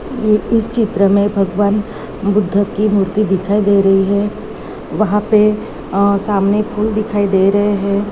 ये इस चित्र मे भगवान बुद्ध की मूर्ति दिखाई दे रही है वहा पे अ सामने फूल दिखाई दे रहे है।